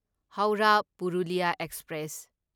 Howrah Purulia express